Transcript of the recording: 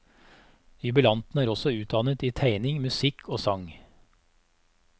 Jubilanten er også utdannet i tegning, musikk og sang.